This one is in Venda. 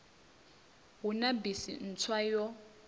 hu na bisi ntswa yo